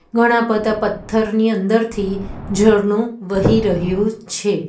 ઘણા બધા પથ્થરની અંદરથી ઝરણું વહી રહ્યું છે.